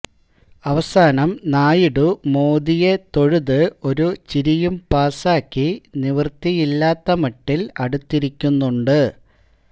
അവസാനം നായിഡു മോദിയെ തൊഴുത് ഒരു ചിരിയും പാസാക്കി നിവൃത്തിയില്ലാത്ത മട്ടില് അടുത്തിരിക്കുന്നുണ്ട്